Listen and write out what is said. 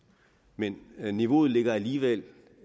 men men niveauet ligger alligevel